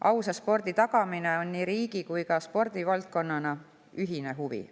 Ausa spordi tagamine on nii riigi kui ka spordivaldkonna ühine huvi.